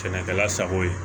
Sɛnɛkɛla sago ye